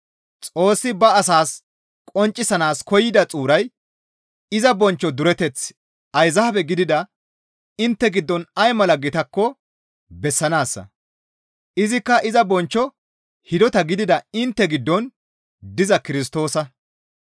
Xoossi ba asaas qonccisanaas koyida xuuray iza bonchcho dureteththi ayzaabe gidida intte giddon ay mala gitakko bessanaassa; izikka iza bonchcho hidota gidida intte giddon diza Kirstoosa.